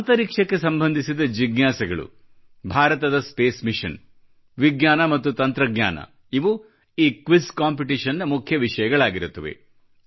ಅಂತರಿಕ್ಷಕ್ಕೆ ಸಂಬಂಧಿಸಿದ ಜಿಜ್ಞಾಸೆಗಳು ಭಾರತದ ಸ್ಪೇಸ್ ಮಿಷನ್ ವಿಜ್ಞಾನ ಮತ್ತು ತಂತ್ರಜ್ಞಾನ ಇವು ಈ ಕ್ವಿಜ್ ಕಾಂಪಿಟಿಷನ್ ನ ಮುಖ್ಯ ವಿಷಯಗಳಾಗಿರುತ್ತವೆ